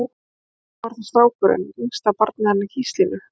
En svo var það strákurinn, yngsta barnið hennar Gíslínu.